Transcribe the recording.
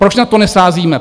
Proč na to nesázíte?